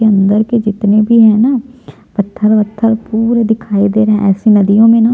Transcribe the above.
अंदर के जितने भी है ना पत्थर उथर पूरे दिखाई दे रहै है ऐसी नदियों में ना --